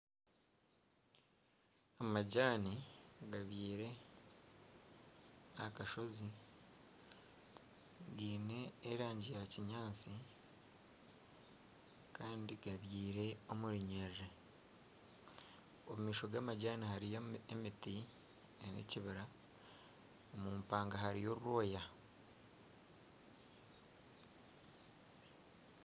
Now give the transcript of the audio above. Amajaani gabyirwe aha kashozi giine erangi ya kinyaatsi kandi gabyire omu runyerere omu maisho g'amajaani hariyo emiti n'ekibira omu mpanga hariyo orwoya